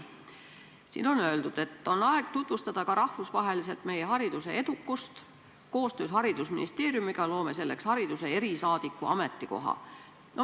Siin kõlas, et on aeg tutvustada ka rahvusvaheliselt meie hariduse edukust ja et koostöös haridusministeeriumiga luuakse selleks hariduse erisaadiku ametikoht.